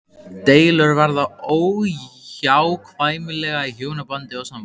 Deilur verða óhjákvæmilega í hjónabandi og sambúð.